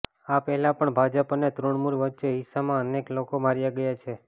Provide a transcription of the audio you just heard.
આ પહેલા પણ ભાજપ અને તૃણમૂલ વચ્ચે હિંસામાં અનેક લોકો માર્યા ગયા છે